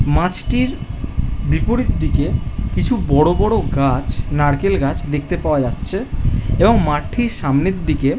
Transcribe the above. মাছটির বিপরীত দিকে কিছু বড় বড় গাছ নারকেল গাছ দেখতে পাওয়া যাচ্ছে এবং মাটির সামনের দিকে--